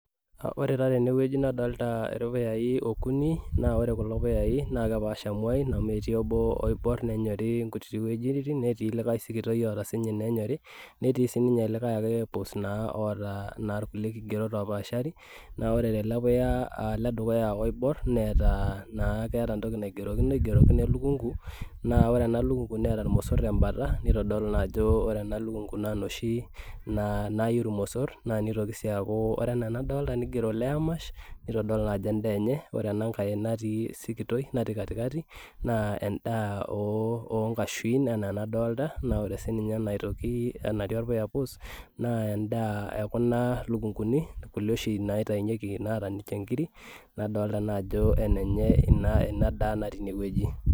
Ore taa tenewueji nadolta irpuyai okuni naa ore kulo puyai naa kepaasha imuain amu etii obo oiborr nenyori inkutiti netii likae sikitoi oota sinye inenyori netii sininye likae ake puus naa oota naa irkulie kigerot opashari naa ore tele puya aledukuya oiborr neeta naa keeta entoki naigerokino elukungu naa ore ena lukungu neeta irmosorr tembata nitodolu naa ajo ore ena lukungu naa inoshi naa nayu irmosorr naa nitoki sii aaku ore enaa enadolta nigero layer mash nitodolu naa ajo endaa enye ore ena nkae natii sikitoi natii katikati naa endaa ooh onkashuin enaa enadolta naa ore sininye ena aitoki enatii orpuya pus naa endaa ekuna lukunguni kulie oshi naitainyieki naata ninche inkiri nadolta naa ajo enenye ina ina daa natii inewueji.